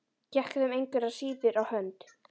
Gekk þeim engu að síður á hönd.